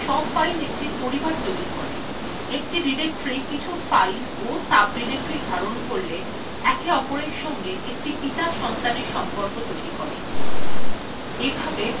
একটি directory কিছু files ও সাবডিরেক্টরির ধারণ করলে একে অপরের সঙ্গে একটি পিতা– সন্তানের সম্পর্ক tree করে এভাবে linux files system tree tree হয়